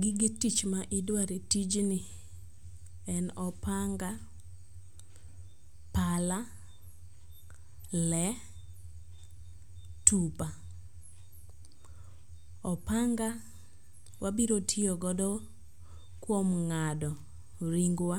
Gige tich ma idware e tijni en opanga, pala, le, tupa. Opanga wabiro tiyogodo kuom nga'do ringwa,